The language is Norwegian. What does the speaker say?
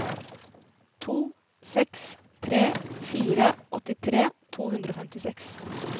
to seks tre fire åttitre to hundre og femtiseks